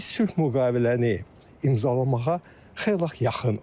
Biz sülh müqaviləni imzalamağa xeyli yaxınıq.